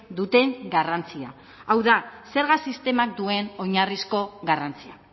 duten garrantzia hau da zerga sistemak duen oinarrizko garrantzia